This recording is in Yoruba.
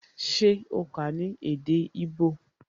Se o kà á ní èdè igbó?